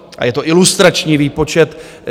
A je to ilustrační výpočet.